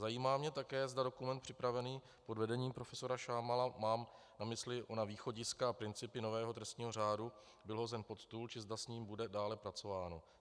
Zajímá mě také, zda dokument, připravený pod vedením profesora Šámala, mám na mysli ona východiska a principy nového trestního řádu, byl hozen pod stůl, či zda s ním bude dále pracováno.